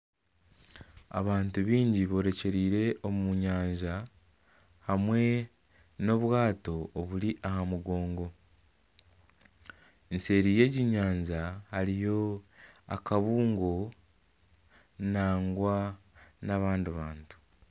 Abantu baingi borekyereire omu nyanja hamwe n'obwato oburi aha mugongo nseeri y'egi nyanja hariyo akabuungo nangwa n'abandi bantu